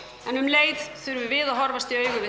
en um leið þurfum við að horfa í augu við